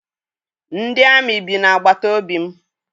Ndị amị bi na-agbata obi m.